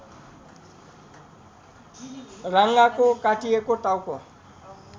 राँगाको काटिएको टाउको